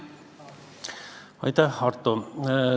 Aitäh, Arto!